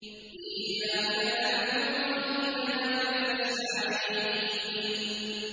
إِيَّاكَ نَعْبُدُ وَإِيَّاكَ نَسْتَعِينُ